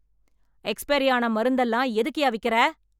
Expiry ஆனா மருந்தெல்லாம் எதுக்குயா விக்கிற?